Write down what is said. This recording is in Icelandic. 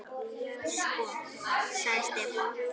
Sko. sagði Stefán.